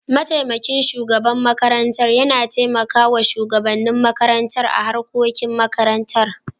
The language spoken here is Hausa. mataimakin shugaban makarantar yana taimakawa shugabannin makarantar a harkokin makarantar.